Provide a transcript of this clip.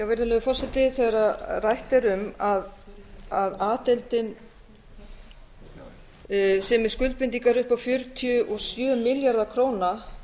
virðulegi forseti þegar rætt er um að a deildin sé með skuldbindingar upp á fjörutíu og sjö milljarða króna